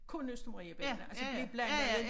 Kun Østermarie bella altså blev blandede